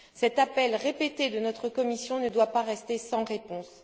Cet appel répété de notre commission ne doit pas rester sans réponse.